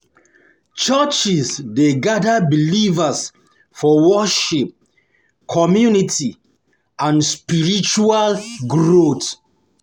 Churches Churches dey gather believers for worship, community, and spiritual growth.